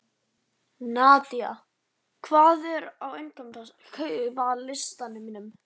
Nadia, hvað er á innkaupalistanum mínum?